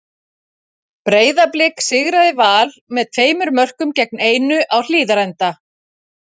Breiðablik sigraði Val með tveimur mörkum gegn einu á Hlíðarenda.